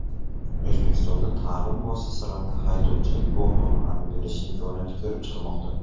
O‘zbekistonda ta’lim muassasalarida haydovchilik guvohnomalarini berish imkoniyati ko‘rib chiqilmoqda.